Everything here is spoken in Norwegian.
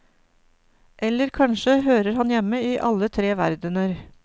Eller kanskje hører han hjemme i alle tre verdener.